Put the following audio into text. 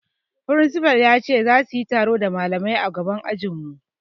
Firinsifal ya ce zasu yi taro da malamai a gaban ajin mu